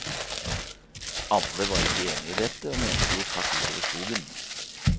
Alle var ikke enige i dette, og mente det gikk hardt ut over skogen.